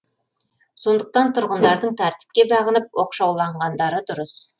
сондықтан тұрғындардың тәртіпке бағынып оқшауланғандары дұрыс